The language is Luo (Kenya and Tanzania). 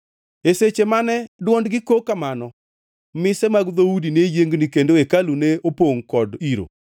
E seche mane dwondgi kok kamano, mise mag dhoudi ne yiengni kendo hekalu ne opongʼ kod iro.